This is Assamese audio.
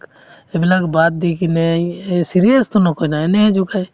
এইবিলাক বাদ দি কিনে এ~ এই serious তো নকয় না এনেহে জোকায়